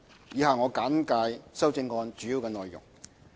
以下我簡介修正案主要的內容。